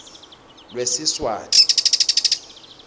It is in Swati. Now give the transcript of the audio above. lwesiswati